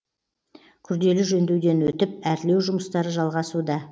күрделі жөндеуден өтіп әрлеу жұмыстары жалғасуда